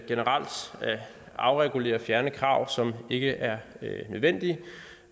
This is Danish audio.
afregulere og fjerne krav som ikke er nødvendige